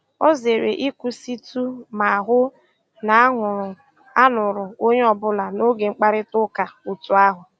Ọ zèrè ị̀kwụ́sị̀tụ́ mà hụ́ na a nụ̀rù a nụ̀rù ònyè ọ́bụ́là n'ógè mkpáịrịtà ụ́ka otù ahụ́.